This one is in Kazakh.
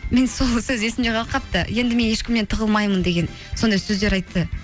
мен сол сөз есімде қалып қалыпаты енді мен ешкімнен тығылмаймын деген сондай сөздер айтты